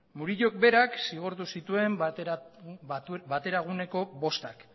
murillok berak zigortu zituen bateraguneko bostak